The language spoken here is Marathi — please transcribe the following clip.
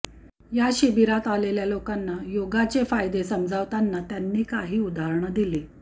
या शिबिरात आलेल्या लोकांना योगाचे फायदे समजावताना त्यांनी काही उदाहरणं दिली